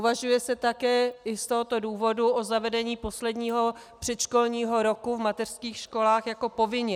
Uvažuje se také i z tohoto důvodu o zavedení posledního předškolního roku v mateřských školách jako povinného.